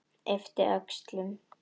Yppti öxlum.